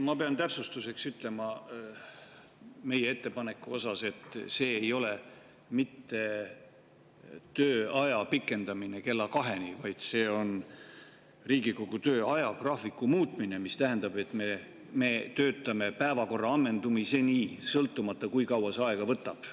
Ma pean täpsustuseks ütlema meie ettepaneku kohta, et see ei ole mitte tööaja pikendamine kella kaheni, vaid see on Riigikogu töö ajagraafiku muutmine, mis tähendab, et me töötame päevakorra ammendumiseni, sõltumata sellest, kui kaua see aega võtab.